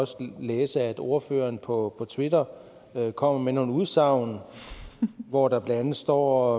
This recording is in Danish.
også læse at ordføreren på twitter kommer med nogle udsagn hvor der blandt andet står